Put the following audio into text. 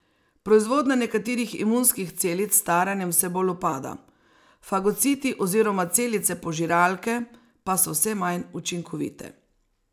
Proizvodnja nekaterih imunskih celic s staranjem vse bolj upada, fagociti oziroma celice požiralke pa so vse manj učinkovite.